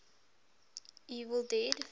evil dead